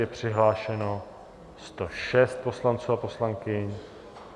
Je přihlášeno 106 poslanců a poslankyň.